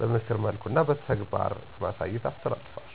በምክር መልኩ እና በተግባር በማሳየት አስተላሰፋለዉ